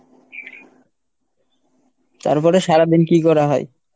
তারপরে সারাদিন কী করা হয়?